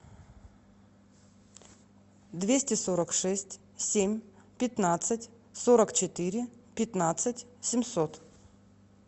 двести сорок шесть семь пятнадцать сорок четыре пятнадцать семьсот